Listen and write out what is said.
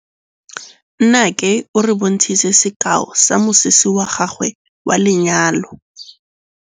Nnake o re bontshitse sekaô sa mosese wa gagwe wa lenyalo.